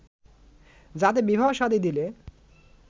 যাতে বিবাহ শাদী দিলে